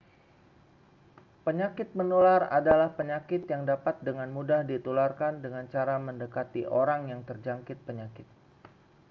penyakit menular adalah penyakit yang dapat dengan mudah ditularkan dengan cara mendekati orang yang terjangkit penyakit